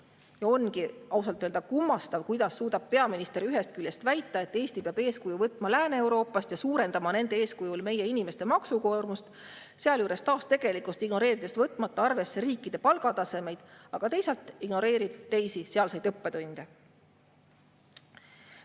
Ja ongi ausalt öelda kummastav, kuidas suudab peaminister ühest küljest väita, et Eesti peab eeskuju võtma Lääne-Euroopast ja suurendama nende eeskujul meie inimeste maksukoormust, sealjuures taas tegelikkust ignoreerides võtmata arvesse riikide palgatasemeid, aga teisalt ignoreerib ta teisi sealseid õppetunde.